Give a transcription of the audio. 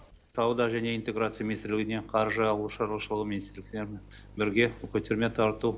сауда және интеграция министрлігіне қаржы ауыл шаруашылығы министрліктерімен бірге көтерме тарату